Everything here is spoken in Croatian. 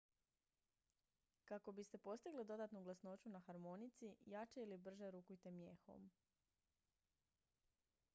kako biste postigli dodatnu glasnoću na harmonici jače ili brže rukujte mijehom